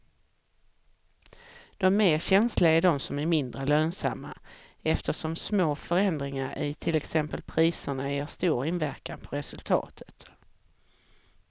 De mer känsliga är de som är mindre lönsamma eftersom små förändringar i till exempel priserna ger stor inverkan på resultatet.